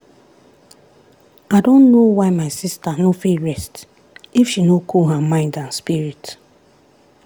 i don know why my sister no fit rest if she no cool her mind and spirit.